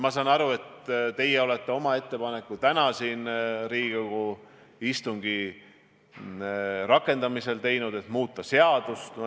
Ma saan aru, et te tegite täna Riigikogu istungi rakendamisel ettepaneku muuta seadust.